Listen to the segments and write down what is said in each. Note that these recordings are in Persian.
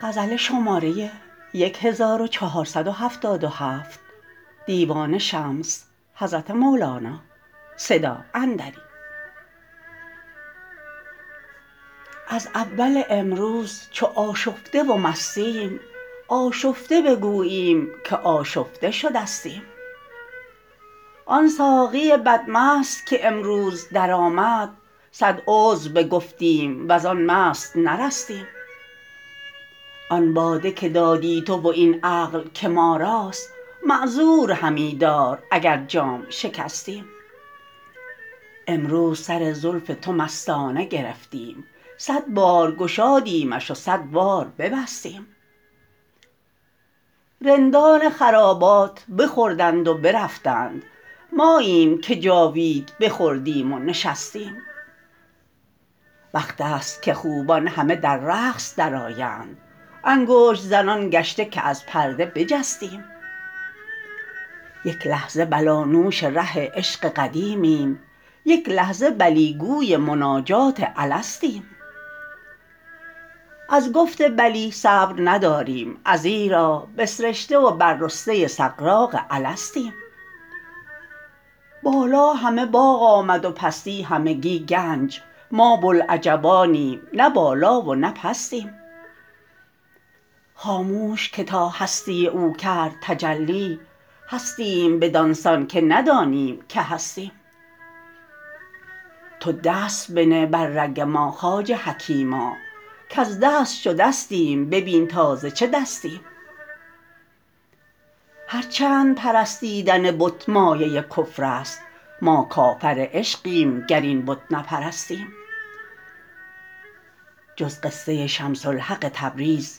از اول امروز چو آشفته و مستیم آشفته بگوییم که آشفته شدستیم آن ساقی بدمست که امروز درآمد صد عذر بگفتیم و زان مست نرستیم آن باده که دادی تو و این عقل که ما راست معذور همی دار اگر جام شکستیم امروز سر زلف تو مستانه گرفتیم صد بار گشادیمش و صد بار ببستیم رندان خرابات بخوردند و برفتند ماییم که جاوید بخوردیم و نشستیم وقت است که خوبان همه در رقص درآیند انگشت زنان گشته که از پرده بجستیم یک لحظه بلانوش ره عشق قدیمیم یک لحظه بلی گوی مناجات الستیم از گفت بلی صبر نداریم ازیرا بسرشته و بر رسته سغراق الستیم بالا همه باغ آمد و پستی همگی گنج ما بوالعجبانیم نه بالا و نه پستیم خاموش که تا هستی او کرد تجلی هستیم بدان سان که ندانیم که هستیم تو دست بنه بر رگ ما خواجه حکیما کز دست شدستیم ببین تا ز چه دستیم هر چند پرستیدن بت مایه کفر است ما کافر عشقیم گر این بت نپرستیم جز قصه شمس حق تبریز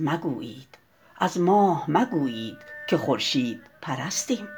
مگویید از ماه مگویید که خورشیدپرستیم